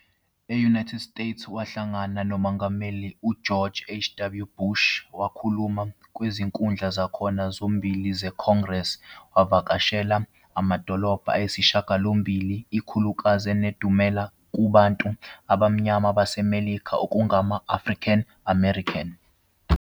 E-United States, wahlangana noMongameli uGeorge H. W. Bush, wakhuluma kwizinkundla zakhona zombili ze-Congress wavakashela amadolobha ayisishagalombili, ikakhulukazi enedumela kubantu abamnyama baseMelika okungama- African-American.